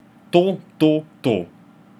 To, to, to.